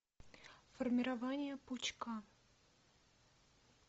формирование пучка